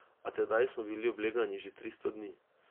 A tedaj smo bili oblegani že tristo dni.